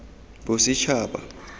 bosetšhaba